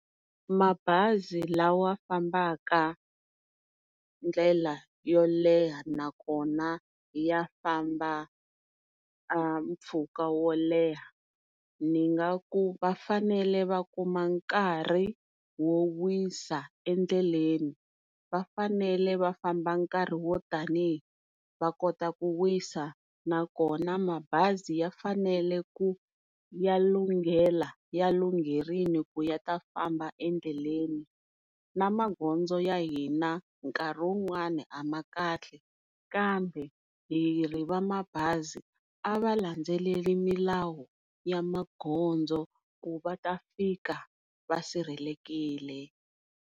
Mabazi lawa fambaka ndlela yo leha nakona ya famba mpfhuka wo leha ni nga ku vafanele va kuma nkarhi wo wisa endleleni. Vafanele va famba nkarhi wo tanihi va kota ku wisa nakona mabazi ya fanele ku ya lunghela ya lungherile ku ya ta famba endleleni. Magondzo ya hina nkarhi wun'wani a ma kahle kambe hi ri va mabazi a va landzeleleli milawu ya magondzo ku va ta fika va sirhelelekile.